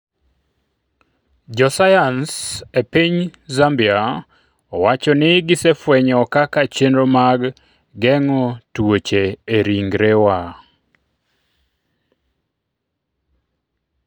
Jo sayans e piny Zambia owacho ni gisefwenyo kaka chenro mag geng'o tuoche e ringwewa